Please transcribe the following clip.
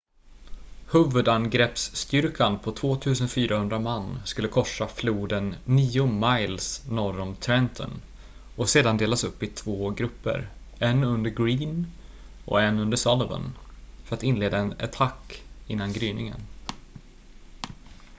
huvudangreppsstyrkan på 2 400 man skulle korsa floden nio miles norr om trenton och sedan delas upp i två grupper en under greene och en under sullivan för att inleda en attack innan gryningen